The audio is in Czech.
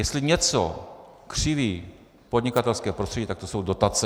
Jestli něco křiví podnikatelské prostředí, tak to jsou dotace.